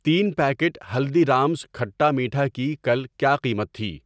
تین پیکٹ ہلدی رامز کھٹا میٹھا کی کل کیا قیمت تھی؟